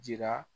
Jira